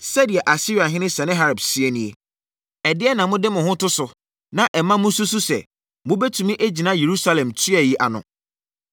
“Sɛdeɛ Asiriahene Sanaherib seɛ nie: Ɛdeɛn na mode mo ho to so, na ɛma mo susu sɛ, mobɛtumi agyina Yerusalem tua yi ano?